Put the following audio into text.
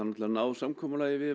ná samkomulagi við